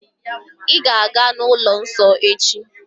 Ị̀ ga-aga n'ụlọ nsọ echi?